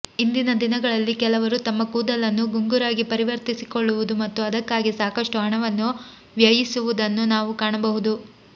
ಇಂದಿನ ದಿನಗಳಲ್ಲಿ ಕೆಲವರು ತಮ್ಮ ಕೂದಲನ್ನು ಗುಂಗುರಾಗಿ ಪರಿವರ್ತಿಸಿಕೊಳ್ಳುವುದು ಮತ್ತು ಅದಕ್ಕಾಗಿ ಸಾಕಷ್ಟು ಹಣವನ್ನು ವ್ಯಯಿಸುವುದನ್ನು ನಾವು ಕಾಣಬಹುದು